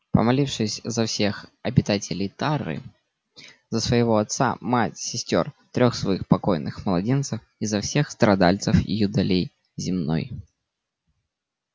помолившись за всех обитателей тары за своего отца мать сестёр трёх своих покойных младенцев и за всех страдальцев юдоли земной